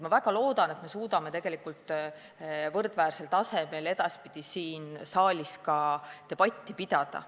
Ma väga loodan, et me suudame võrdväärsel tasemel ka edaspidi siin saalis debatti pidada.